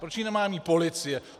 Proč ji nemá mít policie?